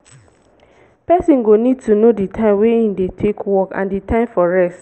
person go need to know di time wey im dey take work and di time for rest